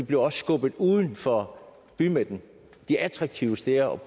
bliver også skubbet uden for bymidten de attraktive steder